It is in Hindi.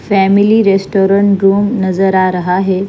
फैमली रेस्टोरेंट रूम नजर आ रहा है ।